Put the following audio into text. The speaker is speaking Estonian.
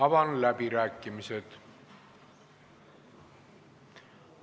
Avan läbirääkimised.